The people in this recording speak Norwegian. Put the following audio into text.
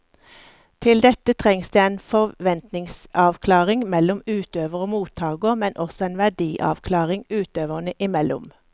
Til dette trengs det en forventningsavklaring mellom utøver og mottaker, men også en verdiavklaring utøverne imellom.